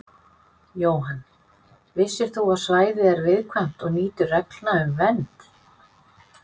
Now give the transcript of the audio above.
Jóhann: Vissir þú að svæðið er viðkvæmt og nýtur reglna um vernd?